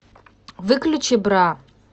выключи бра